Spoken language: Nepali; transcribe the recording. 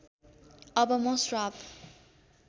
अब म श्राप